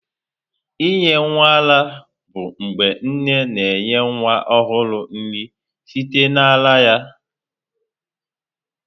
Inye nwa ara bụ mgbe nne na-enye nwa ọhụrụ nri site na ara ya.